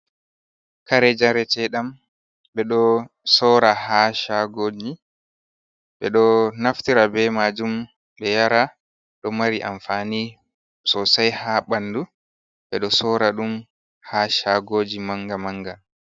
Kare jaretedam ɓeɗo sora ha shagoji ɓeɗo naftira be majum be yara do mari amfani sosai ha bandu ɓeɗo sora ɗum ha shagoji manga manga.